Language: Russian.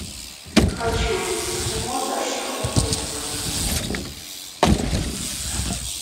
хочу увидеть кино за что мне это